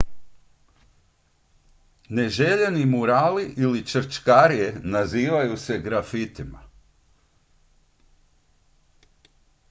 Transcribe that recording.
neželjeni murali ili črčkarije nazivaju se grafitima